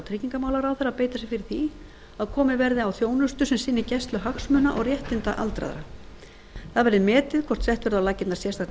tryggingamálaráðherra að beita sér fyrir því að komið verði á þjónustu sem sinni gæslu hagsmuna og réttinda aldraðra það verði metið hvort sett verði á laggirnar sérstakt